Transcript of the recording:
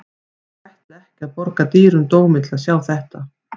Ég ætla ekki að borga dýrum dómi til að sjá þetta.